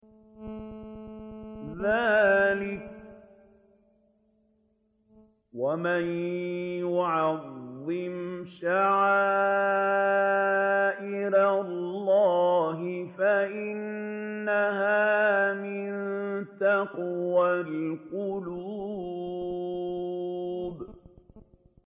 ذَٰلِكَ وَمَن يُعَظِّمْ شَعَائِرَ اللَّهِ فَإِنَّهَا مِن تَقْوَى الْقُلُوبِ